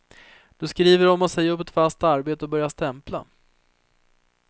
Du skriver om att säga upp ett fast arbete och börja stämpla.